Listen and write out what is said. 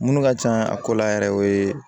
Minnu ka can a ko la yɛrɛ o ye